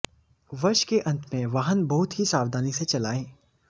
वर्ष के अंत में वाहन बहुत ही सावधानी से चलाएं